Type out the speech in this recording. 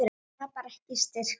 Tapar ekki styrk sínum.